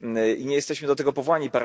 I nie jesteśmy do tego powołani.